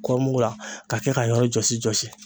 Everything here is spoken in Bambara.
Kɔɔri mugu la ka kɛ k'a yɔrɔ jɔsi jɔsi.